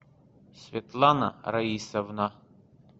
светлана раисовна